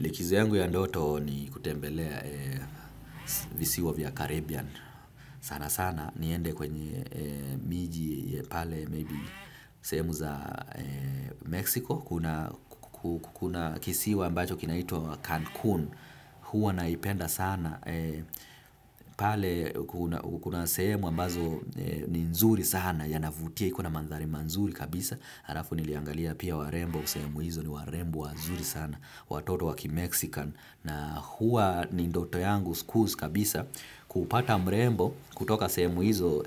Likizo yangu ya ndoto ni kutembelea visiwa vya Caribbean sana sana niende kwenye miji pale maybe sehemu za Mexico kuna kisiwa ambacho kinaitwa Cancun huwa naipenda sana pale kuna sehemu ambazo ni nzuri sana yanavutia iko na mandhari mazuri kabisa. Halafu niliangalia pia warembo sehemu hizo ni warembo wazuri sana watoto wa kimexican na huwa ni ndoto yangu kuu kabisa kupata mrembo kutoka sehemu hizo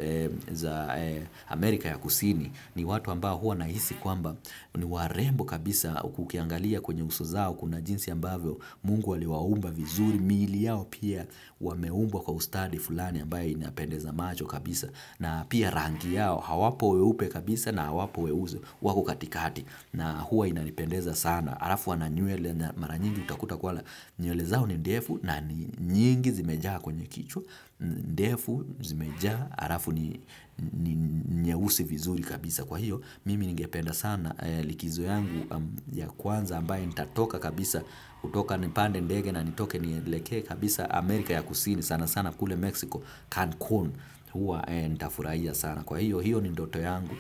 za Amerika ya kusini ni watu ambao huwa nahisi kwamba ni warembo kabisa ukiangalia kwenye uso zao kuna jinsi ambavyo Mungu aliwaumba vizuri, miili yao pia wameumbwa kwa ustadi fulani ambayo inapendeza macho kabisa na pia rangi yao hawapo weupe kabisa na hawapo weusi. Wako katikati na huwa inanipendeza sana. Alafu wana nywele na mara nyingi utakuta kuwa nywele zao ni ndefu na ni nyingi zimejaa kwenye kichwa. Ndefu, zimejaa, alafu ni nyeusi vizuri kabisa. Kwa hiyo, mimi ningependa sana likizo yangu ya kwanza ambayo nitatoka kabisa kutoka nipande ndege na nitoke nielekee kabisa Amerika ya kusini. Sana sana kule Mexico, Cancun huwa nitafurahia sana. Na kwa hiyo, hiyo ni ndoto yangu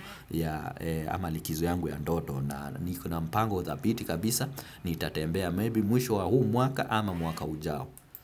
ama likizo yangu ya ndoto na niko na mpango thabiti kabisa nitatembea maybe mwisho wa huu mwaka ama mwaka ujao.